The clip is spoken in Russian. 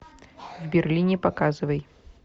в берлине показывай